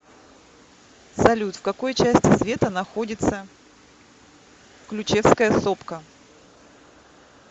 салют в какой части света находится ключевская сопка